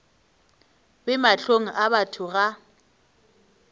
be mahlong a batho ga